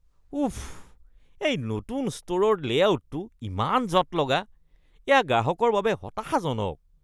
উফ, এই নতুন ষ্টোৰৰ লে'আউটটো ইমান জঁট লগা। এইয়া গ্ৰাহকৰ বাবে হতাশাজনক।